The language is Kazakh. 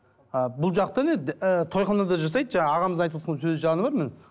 а бұл жақта не тойханада жасайды жаңағы ағамыз айтывотқан сөзі жаны бар міне